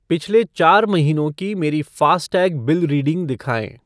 पिछले चार महीनों की मेरी फ़ास्टैग बिल रीडिंग दिखाएँ।